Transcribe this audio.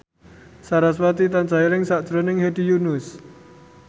sarasvati tansah eling sakjroning Hedi Yunus